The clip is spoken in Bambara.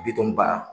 Bitɔn ba